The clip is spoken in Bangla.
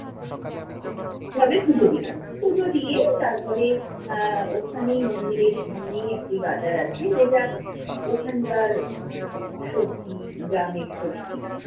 ভাবে পুজো দিলাম। পুজো দিয়ে তারপরে আহ ওখানেই মন্দিরের সামনেই একটি বাজার আছে যেটা ওখানকার আহ সবজি,